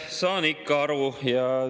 Saan ikka aru.